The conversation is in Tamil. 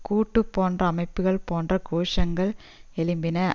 கூட்டு போன்ற அமைப்புக்கள் போன்ற கோஷங்கள் எழுப்பின